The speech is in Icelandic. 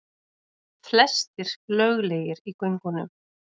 Flestir löglegir í göngunum